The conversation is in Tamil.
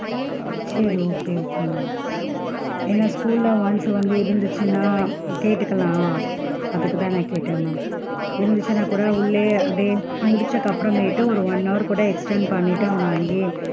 சேரி okay okay ma'am ஏன்னா school ல once வந்து இருந்துச்சுன்னா கேட்டுக்கலாம், அதுக்கு தான் நான் கேட்டேன் ma'am இருந்துச்சுன்னா கூட உள்ளயே அதே முடிச்சதுக்கு அப்பறமேட்டு ஒரு one hour கூட extend பண்ணிட்டு அவன அங்கேயே,